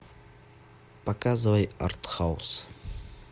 показывай артхаус